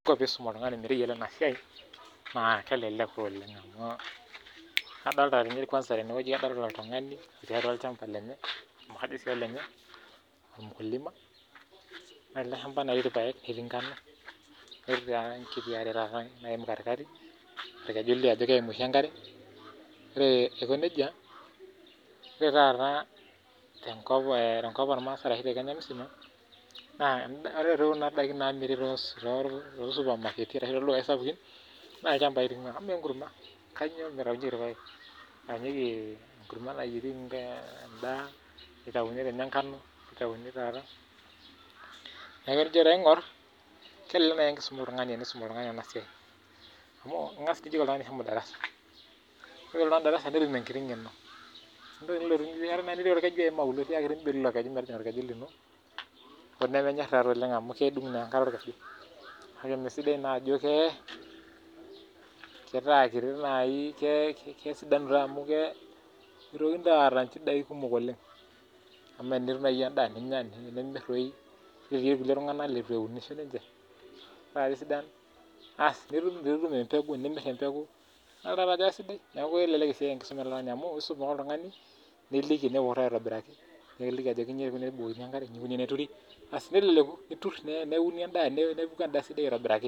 Isuum oltung'ani metayiolo ena siai naa kelelek taa oleng' adoolta nyee kwansa oltung'ani itii atua olchamba lenye ama kajo sii olenye ormukulima oree ele shampa naa ketii irpayek netii inkwashen netii ekitia are naaim karikari kelio ajo keim oshii enkare oree aiko nejia oree taata tenkop ooo rmaasai arashi te Kenya msima naa oree toi kuna daikin naamiri too ildukayii sapukin naa ilchapai doi eing'waa amu kanyuo naa etaunyieki irayek neitayini nkano netatuni taataa tenijo taa aing'orr naa kelelek enko peisum oltungani ena siai amu ingas dii ajeki oltung'ani shomo darasa netum enkiti ng'eno niim olkeju auluo tiakii mbelu ilo keju metaw orkeju linon ooo nemenyor naa oleng' amu kedung' naa enkare orkeju kaje emee sidai naa amu netaa kitii naa naji kesidanu naa amu meitokini aata inchidai kumok oleng' amaa tenitum naaji endaa ninya nimir toi irkulie tung'anak leitu eunishoo ninche naq kesidan aasi nitum empeku nitum empeku idolta taa ajo kesidai kelelek esiai enkisuma amu isum ake oltung'ani niliki niutaa aitobiraki niliki ajoki inji toi eikuni tenebukokini enkare inji eikuni tene turi asii neleleku niturr neuni endaa nepuku endaa esidai aitobiraki